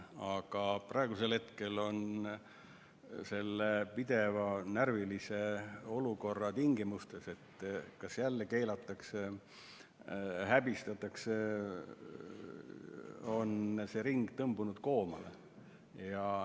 Aga praegu on selles pidevas närvilises olukorras, kus tuleb karta, kas jälle keelatakse, häbistatakse, see ring koomale tõmbunud.